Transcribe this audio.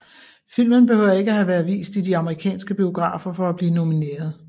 Filmen behøver ikke have været vist i de amerikanske biografer for at blive nomineret